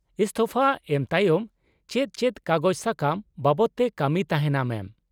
-ᱤᱥᱛᱷᱚᱯᱷᱟ ᱮᱢ ᱛᱟᱭᱚᱢ ᱪᱮᱫ ᱪᱮᱫ ᱠᱟᱜᱚᱡᱽ ᱥᱟᱠᱟᱢ ᱵᱟᱵᱚᱫ ᱛᱮ ᱠᱟᱹᱢᱤ ᱛᱟᱦᱮᱱᱟ ᱢᱮᱢ ?